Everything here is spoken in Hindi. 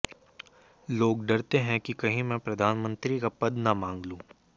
लोग डरते हैं कि कहीं मैं प्रधानमंत्री का पद न मांग लूं